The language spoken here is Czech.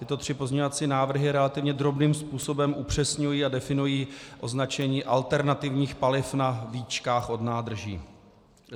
Tyto tři pozměňovací návrhy relativně drobným způsobem upřesňují a definují označení alternativních paliv na víčkách od nádrží.